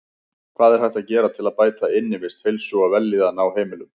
Hvað er hægt að gera til að bæta innivist, heilsu og vellíðan á heimilum?